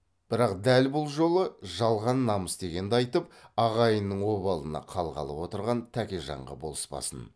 бірақ дәл бұл жолы жалған намыс дегенді айтып ағайынның обалына қалғалы отырған тәкежанға болыспасын